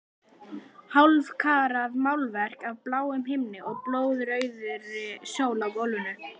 Hálfkarað málverk af bláum himni og blóðrauðri sól á gólfinu.